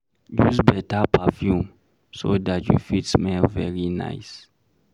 Use better perfume so dat you fit smell very nice